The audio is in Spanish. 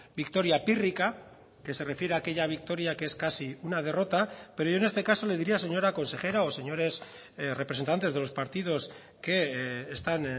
victoria pírrica que se refiere a aquella victoria que es casi una derrota pero yo en este caso le diría señora consejera o señores representantes de los partidos que están